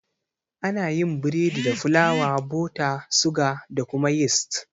Ana yin biredi da fulawa, bota, suga da kuma yist